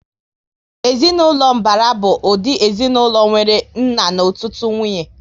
Ezinaụlọ mbara bụ ụdị ezinaụlọ nwéré nna na ọtụtụ nwunye